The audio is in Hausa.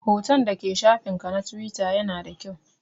Hoton da ke shafin ka na Tiwita ya na da kyau